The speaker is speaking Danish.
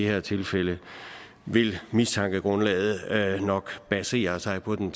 her tilfælde vil mistankegrundlaget nok basere sig på den